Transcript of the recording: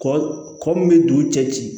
Kɔ kɔ min bɛ dugu cɛ ci